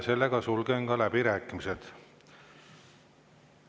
Sulgen läbirääkimised.